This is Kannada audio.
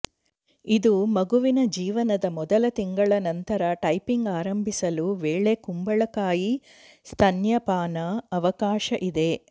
ಇದು ಮಗುವಿನ ಜೀವನದ ಮೊದಲ ತಿಂಗಳ ನಂತರ ಟೈಪಿಂಗ್ ಆರಂಭಿಸಲು ವೇಳೆ ಕುಂಬಳಕಾಯಿ ಸ್ತನ್ಯಪಾನ ಅವಕಾಶ ಇದೆ